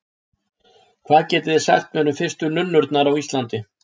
Hvað getið þið sagt mér um fyrstu nunnurnar á Íslandi?